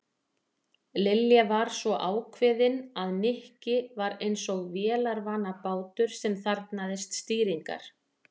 Lilja var svo ákveðin að Nikki var eins og vélarvana bátur sem þarfnaðist stýringar.